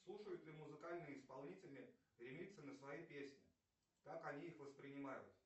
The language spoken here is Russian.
слушают ли музыкальные исполнители ремиксы на свои песни как они их воспринимают